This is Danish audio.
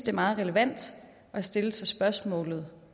er meget relevant at stille sig spørgsmålet